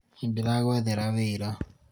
nĩndĩragũethera wĩra